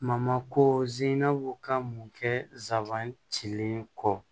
Mamako zene ka mun kɛ zanban cilen kɔ